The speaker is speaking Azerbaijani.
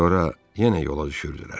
Sonra yenə yola düşürdülər.